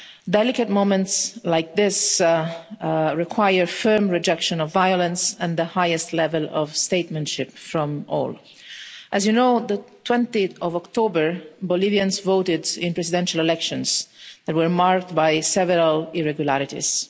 Delicate moments like this require a firm rejection of violence and the highest level of statesmanship from all. As you know, on 20 October, Bolivians voted in presidential elections that were marred by several irregularities.